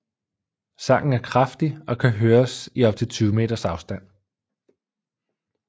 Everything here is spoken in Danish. Sangen er kraftig og kan høres i op til 20 meters afstand